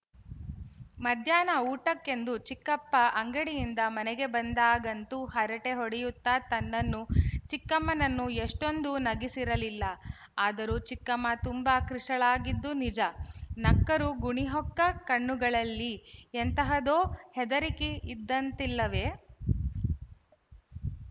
ಮಧ್ಯಾಹ್ನ ಊಟಕ್ಕೆಂದು ಚಿಕ್ಕಪ್ಪ ಅಂಗಡಿಯಿಂದ ಮನೆಗೆ ಬಂದಾಗಂತೂ ಹರಟೆ ಹೊಡೆಯುತ್ತ ತನ್ನನ್ನೂ ಚಿಕ್ಕಮ್ಮನನ್ನೂ ಎಷೆ್ಟೂಂದು ನಗಿಸಿರಲಿಲ್ಲ ಆದರೂ ಚಿಕ್ಕಮ್ಮ ತುಂಬ ಕೃಶಳಾಗಿದ್ದು ನಿಜ ನಕ್ಕರೂ ಗುಣಿಹೊಕ್ಕ ಕಣ್ಣುಗಳಲ್ಲಿ ಎಂತಹುದೋ ಹೆದರಿಕೆ ಇದ್ದಂತಿಲ್ಲವೆ